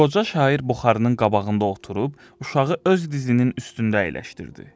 Qoca şair buxarının qabağında oturub, uşağı öz dizinin üstündə əyləşdirdi.